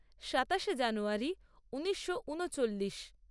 সাতাশে জানুয়ারী ঊনিশো ঊনচল্লিশ